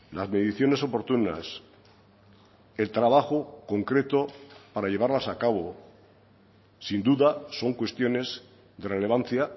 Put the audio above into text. las mediciones oportunas el trabajo concreto para llevarlas a cabo sin duda son cuestiones de relevancia